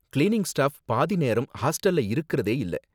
cleaning staff பாதி நேரம் ஹாஸ்டல்ல இருக்குறதே இல்ல